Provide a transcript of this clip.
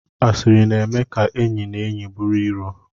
Asịrị na-eme ka enyi na enyi bụrụ iro